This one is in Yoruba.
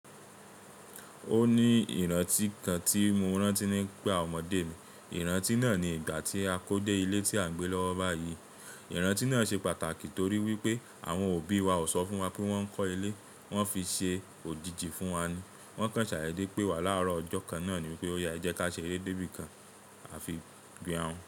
Ó ní ìrántí kan tí mo rántí nípa ọmọdé mi. Ìrántí náà ni ìgbà tí a kó dé ilé tí à ń gbé lọ́wọ́ báyìí. Ìrántí náà ṣe pàtàkì torí wípé àwọn òbí wa ò sọ fún wa pé wón ń kọ́ ilé, wón fi ṣe òjìji fún wa ni. Wón kan sai dede pé wà láàárọ̀ ọjọ́ kan náà ni wípé ó ya e je ka ṣe eré débí kan a fi gbìn àún.